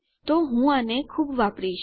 તો હું આને ખુબ વાપરીશ